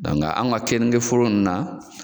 anw ka kenike foro nunnu na